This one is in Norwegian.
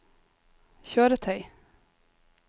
kjøretøy